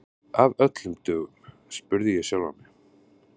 Af öllum dögum? spurði ég sjálfa mig.